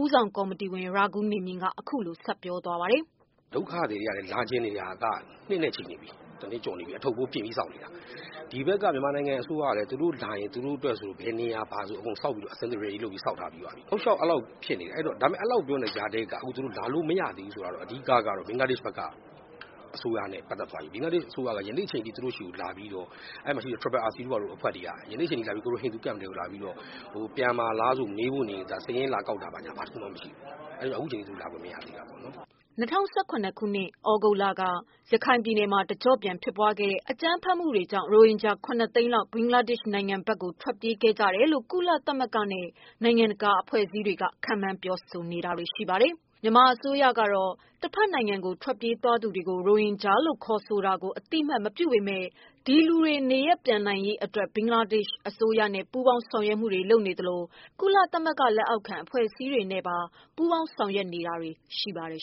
ဦးဆောင်ကော်မတီဝင် ရာဂူးနေမြင့် က အခုလို ဆက်ပြောပါတယ်။ “ဒုက္ခသည်တွေ လာချင်နေတာ တနှစ်ကျော်နေပြီ ၊ အထုတ်နဲ့ ပြင်ပြီး စောင့်နေတာ။ ဒီဘက်က မြန်မာအစိုးရကလည်း ပြန်လာရင် သူတို့ကို ထားဖို့နေရာ လုပ်ပေးထားတယ်။ တောက်လျှောက် အဲလိုပြောနေတဲ့ကြားထဲက မလာနိုင်တာက အဓိကတော့ ဘင်္ဂလားဒေရှ်အစိုးရနဲ့ ပတ်သက်သွားပြီ။ ဘင်္ဂလားဒေ့ရှ်အစိုးရက ယနေ့အထိ ဟိန္ဒူ camp ထဲကိုလာပြီးတော့ ပြန်မှာလားလို့ မေးဖို့ နေနေသာသာ စာရင်းလာကောက်တာကိုမရှိဘူး။ အဲဒါကြောင့် အခုအချိန်အထိ သူတို့လာလို့ မရသေးတာ။” ၂၀၁၇ ခုနှစ် သြဂုတ်လက ရခိုင်ပြည်နယ်မှာ တကျော့ပြန်ဖြစ်ပွားခဲ့တဲ့ အကြမ်းဖက် မှုတွေကြောင့် ရိုဟင်ဂျာ ၇ သိန်းလောက် ဘင်္ဂလားဒေ့ရှ်နိုင်ငံဘက် ထွက်ပြေးခဲ့ကြတယ်လို့ ကုလသမဂ္ဂနဲ့ နိုင်ငံတကာ အဖွဲ့အစည်းတွေက ခန့်မှန်း ပြောဆိုနေတာပါ။ မြန်မာအစိုးရကတော့ တဘက်နိုင်ငံကို ထွက်ပြေးသွားသူတွေကို ရိုဟင်ဂျာလို့ ခေါ်ဆိုတာကို အသိအမှတ် မပြုပေမယ့် ဒီလူတွေ နေရပ်ပြန်နိုင်ရေးအတွက် ဘင်္ဂလားဒေ့ရှ် အစိုးရနဲ့ ပူးပေါင်း ဆောင်ရွက်မှုတွေ လုပ်ဆောင်နေသလို ကုလသမဂ္ဂလက်အောက်ခံ အဖွဲ့အစည်းတွေနဲ့ ပူးပေါင်း ဆောင်ရွက်တာတွေ ရှိနေပါတယ်